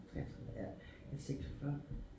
33 ja jeg er 46